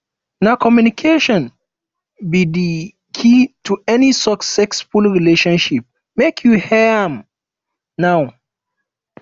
na communication be di key to any successful relationship make you hear am now